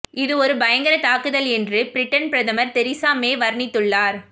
இது ஒரு பயங்கர தாக்குதல் என்று பிரிட்டன் பிரதமர் தெரீசா மே வர்ணித்துள்ளார்